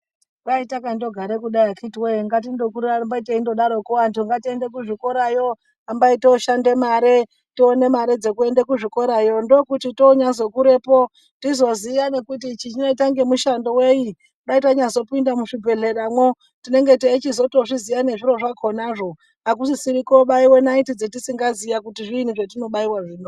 Kwai takandogare kudai akitiwoye ngatindokuramba teidaroko kuti antu ngatiende kuzvikorayo hambai toshanda mare tione dzekuenda kuzvikorayo ndokuti tonyazokurepo tizoziya nekuti ichi chinoita ngemishando weyi dai tanyazopinda muzvibhedhleramwo tinenge teichizotozviziya nezviro zvakonazvo akusisari kobairwa naiti dzatisingaziya kuti zviinyi zvetinobaiwa zvino.